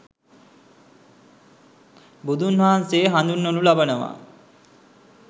බුදුන් වහන්සේ හඳුන්වනු ලබනවා.